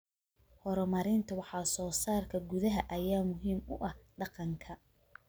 Horumarinta wax soo saarka gudaha ayaa muhiim u ah dhaqanka.